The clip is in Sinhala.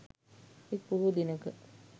එක් පොහෝ දිනක